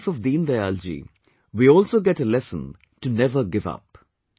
from the life of Deen Dayal ji, we also get a lesson to never give up